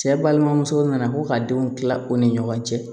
Cɛ balimamuso nana ko ka denw kila u ni ɲɔgɔn cɛ